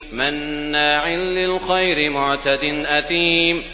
مَّنَّاعٍ لِّلْخَيْرِ مُعْتَدٍ أَثِيمٍ